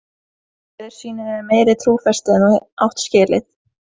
Síra Sigurður sýnir þér meiri trúfesti en þú átt skilið.